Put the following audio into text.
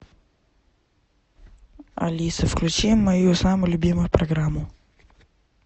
алиса включи мою самую любимую программу